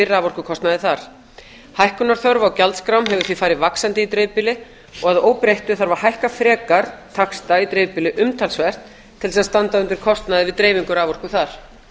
raforkukostnaði þar hækkunarþörf á gjaldskrám hefur því farið vaxandi í dreifbýli og að óbreyttu þarf að hækka frekar taxta í dreifbýli umtalsvert til þess að standa undir kostnaði við dreifingu raforku þar